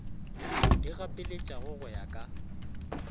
di gapeletšago go ya ka